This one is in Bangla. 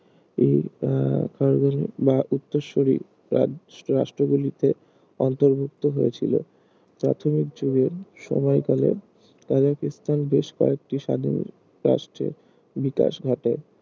এই আহ আকারগুলি বা উত্তরসূরি ~ রাষ্ট্রগুলিতে অন্তর্ভুক্ত হয়েছিল প্রাথমিক যুগের সময়কালে কাজাকিস্তান বেশ কয়েকটি স্বাধীন রাষ্ট্রের বিকাশ ঘটে